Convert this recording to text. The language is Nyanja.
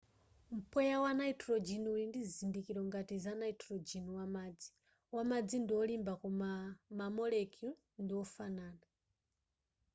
mpweya wa nitrogen uli ndi zizindikiro ngati za nitrogen wamadzi wamadzi ndi olimba koma ma molecule ndi ofanana